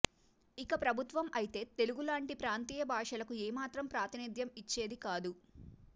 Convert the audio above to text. ఇక ప్రభుత్వం అయితే తెలుగులాంటి ప్రాంతీయ భాషలకు ఏ మాత్రం ప్రాతినిధ్యం ఇచ్చేది కాదు